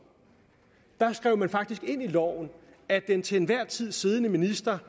skrev man ind i loven at den til enhver tid siddende minister